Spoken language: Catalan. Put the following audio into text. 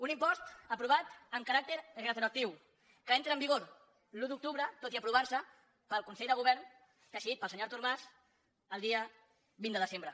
un impost aprovat amb caràcter retroactiu que entra en vigor l’un d’octubre tot i aprovar se pel consell de govern decidit pel senyor artur mas el dia vint de desembre